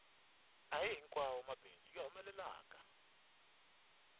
ahihi nkwawomabindzu ya humelelaka